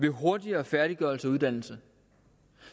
en hurtigere færdiggørelse af uddannelserne